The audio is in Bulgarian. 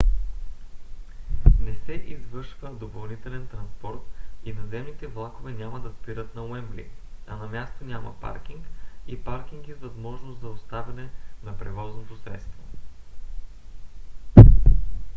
не се извършва допълнителен транспорт и наземните влакове няма да спират на уембли а на място няма паркинг и паркинги с възможност за оставяне на превозното средство